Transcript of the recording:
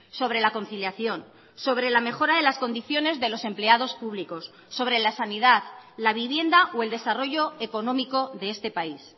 sobre la conciliación sobre la mejora de las condiciones de los empleados públicos sobre la sanidad la vivienda o el desarrollo económico de este país